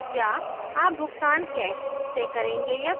या आप भुगतान कैश से करेंगे या कार्ड से